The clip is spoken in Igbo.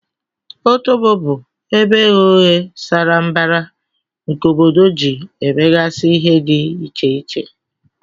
Otobo bu ebe eghe oghe sara mbara nke obodo ji emegasi ihe di iche iche.